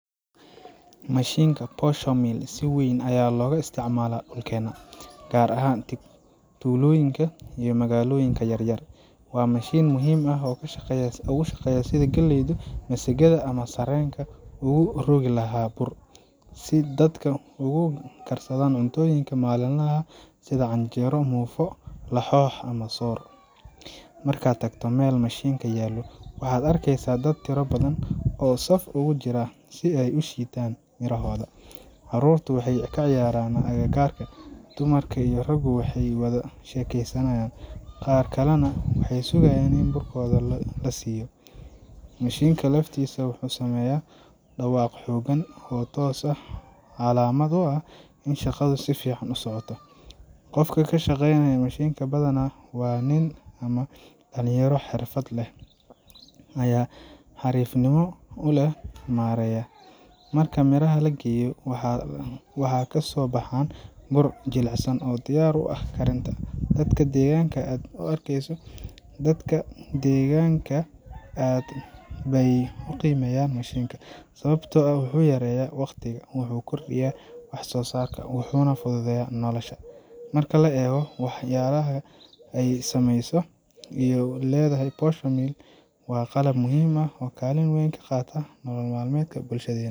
mashiinka posho mill si weyn ayaa looga isticmaalaa dhulkeena, gaar ahaan tuulooyinka iyo magaalooyinka yaryar. Waa mashiin muhiim ah oo u shaqeeya sidii uu galleyda, masagada, ama sarreenka ugu rogi lahaa bur, si dadka ay ugu karsadaan cuntooyinka maalinlaha ah sida canjeero, muufo, laxoox, ama soor. Markaad tagto meel mashiinkan yaallo, waxaad arkaysaa dad tiro badan oo saf ugu jira si ay u shiidaan mirahooda. Carruurtu waxay ciyaarayaan agagaarka, dumarka iyo raggu waxay wada sheekaysanayaan, qaar kalena waxay sugaan in burkooda la siiyo. Mashiinka laftiisa wuxuu sameeyaa dhawaaq xooggan, kaas oo calaamad u ah in shaqadu si fiican u socoto. Qofka ka shaqeynaya mashiinka badanaa waa nin ama dhallinyaro xirfad leh ayaa si xariifnimo leh u maareeya. Marka miraha la geliyo, waxay ka soo baxaan bur aad u jilicsan oo diyaar u ah karinta. Dadka deegaanka aad bay u qiimeeyaan mashiinkan, sababtoo ah wuxuu yareeyaa waqtiga, wuxuu kordhiyaa wax soo saarka, wuxuuna fududeeyaa nolosha. Marka la eego waxqabadka iyo saameynta uu leeyahay, posho mill waa qalab muhiim ah oo kaalin weyn ka qaata nolol maalmeedka bulshadeena.